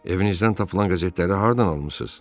Evinizdən tapılan qəzetləri hardan almısız?